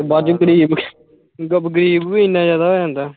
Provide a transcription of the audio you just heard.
ਬਾਅਦ ਚੋਂ ਗ਼ਰੀਬ ਜਦੋਂ ਗ਼ਰੀਬ ਵੀ ਇੰਨਾ ਜ਼ਿਆਦਾ ਹੋ ਜਾਂਦਾ।